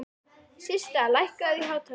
Systa, lækkaðu í hátalaranum.